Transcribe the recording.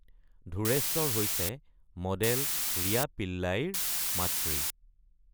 ধুৰ্ৰেশ্বৰ হৈছে মডেল ৰিয়া পিল্লাইৰ মাতৃ।